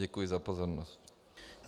Děkuji za pozornost.